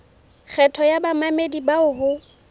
kgetho ya bamamedi bao ho